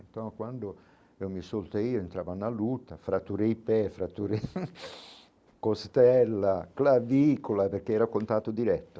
Então quando eu me soltei, entrava na luta, fraturei pé, fraturei costela, clavícula, porque era contato direto.